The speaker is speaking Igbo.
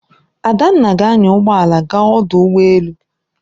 Adanna ga-anya ụgbọ ala gaa ọdụ ụgbọ elu.